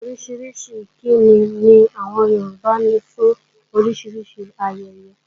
Orísìírísìí ìkíni ni àwọn Yorùbá ní fún oríṣiríṣi ayẹyẹ.